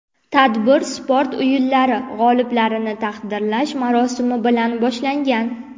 Tadbir sport o‘yinlari g‘oliblarini taqdirlash marosimi bilan boshlangan.